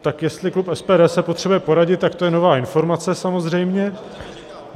Tak jestli klub SPD se potřebuje poradit, tak to je nová informace, samozřejmě.